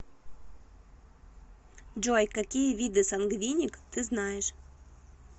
джой какие виды сангвиник ты знаешь